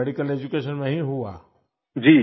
आपका medical education वहीँ हुआ